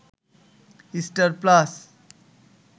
star plus